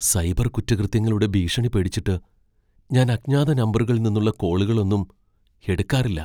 Cyber കുറ്റകൃത്യങ്ങളുടെ ഭീഷണി പേടിച്ചിട്ട് ഞാൻ അജ്ഞാത നമ്പറുകളിൽ നിന്നുള്ള കോളുകളൊന്നും എടുക്കാറില്ല .